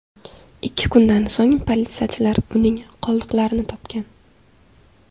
Ikki kundan so‘ng politsiyachilar uning qoldiqlarini topgan.